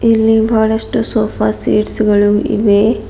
ಇಲ್ಲಿ ಬಹಳಷ್ಟು sofa seats ಗಳು ಇವೆ.